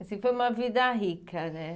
Assim, foi uma vida rica, né?